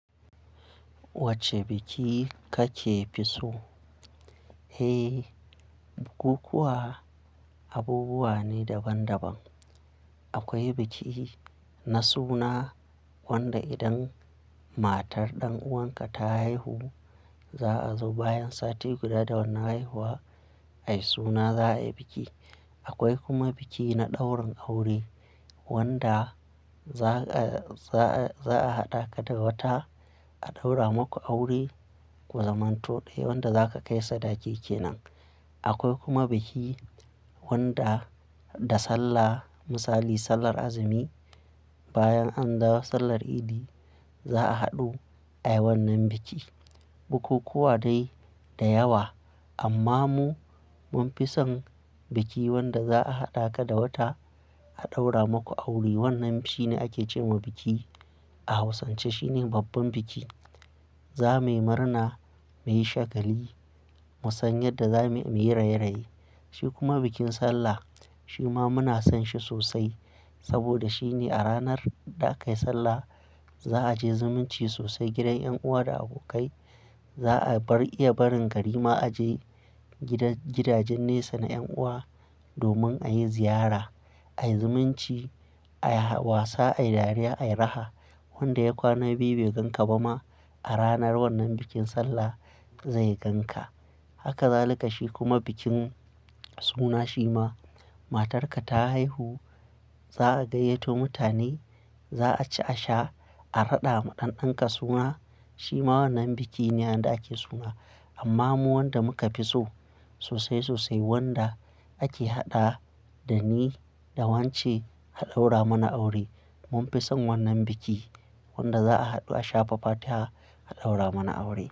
Wacce biki kakefi so? Eh, bukukuwa abubuwa ne daban-daban. Akwai biki na suna, wanda idan matar ɗan'uwanka ta haihu, za'a zo bayan sati guda da wanan haihuwa, ai suna za'a yi biki. Akwai kuma biki na ɗaurin aure, wanda za a, za a, za'a haɗa ka da wata, a ɗaura maku aure, ku zaman to ɗaya wanda zaka kai sadaki kenan. Akwai kuma biki wanda da sallah, misali sallar azumi, bayan an dawo sallar Idi za'a haɗu ayi wannan biki. Bukukuwa dai da yawa, amma mu mun fi son biki wanda za'a haɗa ka da wata a ɗaura maku aure. Wannan shine ake ce wa biki a Hausance. Shine babban biki. Za muyi murna, muyi shagali, musanyar da za muyi raye-raye. Shi kuma bikin sallah shi ma muna son shi sosai. Saboda shine a ranar da akayi sallah, za'a je zumunci sosai gidan yan'uwa da abokai. Za'a bar iya barin garima a je gidan gidajen nesa na yan'uwa domin a yi ziyara, a yi zumunci, a yi wasa, a yi dariya, a yi raha. Wanda ya kwana biyu bai ganka ba ma a ranar wannan bikin sallah zai ganka. Haka za likashi kuma bikin suna shi ma. Matarka ta haihu za'a gayyato mutane, za'a ci, a sha, a raɗa ma ɗan'ɗanka suna. Shi ma wannan biki ne, wanda ake suna. Amma mu wanda muka fi so sosai sosai, wanda ake haɗa dani da wance a ɗaura mana aure. Mun fi son wannan biki, wanda za'a haɗu a sha fa fatiha aɗaura mana aure.